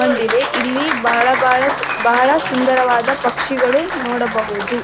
ಬಂದಿವೆ ಇಲ್ಲಿ ಬಹಳ ಬಹಳ ಸುಂದರವಾದ ಪಕ್ಷಿಗಳು ನೋಡಬಹುದು.